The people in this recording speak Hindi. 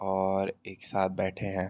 और एक साथ बैठे हैं।